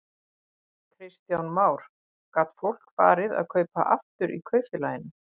Kristján Már: Gat fólk farið að kaupa aftur í kaupfélaginu?